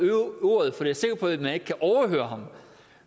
ordet for jeg er sikker på at man ikke kan overhøre ham